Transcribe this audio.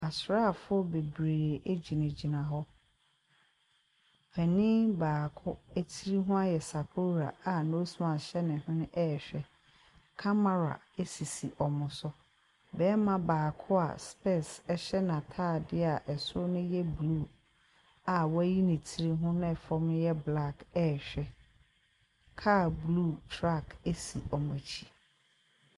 Asraafoɔ bebree gyinagyina hɔ. Panin baako tiri ho ahyɛ sakora a nose mask hyɛ ne hwene rehwɛ. Camera sisi wɔn so. Barima baako a specs hyɛ n'atadeɛ a soro no yɛ blue a wayi ne tiri ho na fam no yɛ black rehwɛ. Car blue si wɔn akyi.